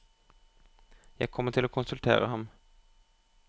Jeg kommer til å konsultere ham.